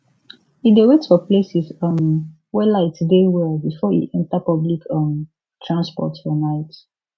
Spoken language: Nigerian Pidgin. e dey wait for places um wey light dey well before e enter public um transport for night